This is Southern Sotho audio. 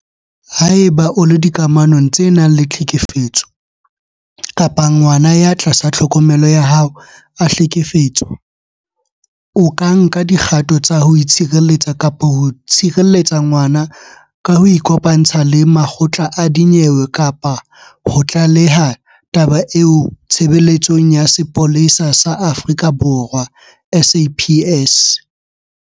Haeba o le dikamanong tse nang le tlhekefetso kapa ngwana ya tlasa tlhokomelo ya hao a hlekefetswa, o ka nka dikgato tsa ho itshireletsa kapa ho tshireletsa ngwana ka ho ikopantsha le makgotla a dinyewe kapa ho tlaleha taba eo Tshebeletsong ya Sepolesa sa Aforika Borwa, SAPS.